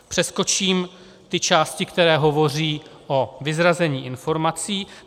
Přeskočím ty části, které hovoří o vyzrazení informací.